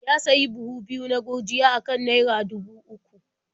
Ya sayi buhu biyu na gurjiya a kan naia dubu uku.